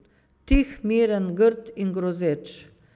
Tih, miren, grd in grozeč.